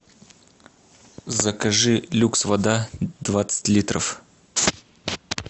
закажи люкс вода двадцать литров